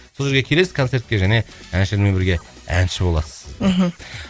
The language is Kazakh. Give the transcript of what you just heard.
сол жерге келесіз концертке және әншілермен бірге әнші боласыз мхм